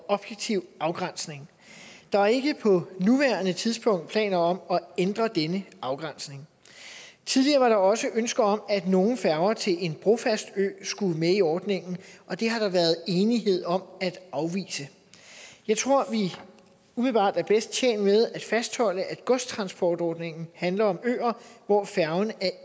og objektiv afgrænsning der er ikke på nuværende tidspunkt planer om at ændre denne afgrænsning tidligere var der også ønske om at nogle færger til en brofast ø skulle med i ordningen og det har der været enighed om at afvise jeg tror vi umiddelbart er bedst tjent med at fastholde at godstransportordningen handler om øer hvor færgen er